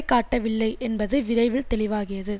காட்டவில்லை என்பது விரைவில் தெளிவாகியது